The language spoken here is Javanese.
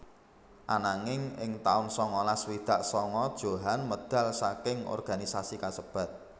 Ananging ing taun sangalas swidak sanga Djohan medal saking organisasi kasebat